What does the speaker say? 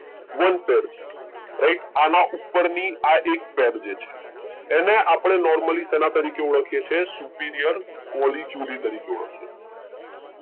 One પર છે right આના ઉપર ની આ એક પૈરજે છે એને આપડે નોર્મલી શેના તરીખે ઓળખીયે છીએ superior કોલી ક્યુલી તરીખે ઓળખીયે છીએ.